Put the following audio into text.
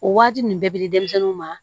O waati nin bɛɛ bi di denmisɛnninw ma